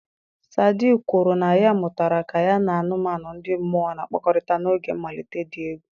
Sadi kwuru na ya mụtara ka ya na anụmanụ ndị mmụọ na-akpakọrịta n'oge mmalite dị egwu.